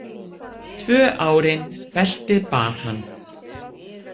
Tvö árin beltið bar hann.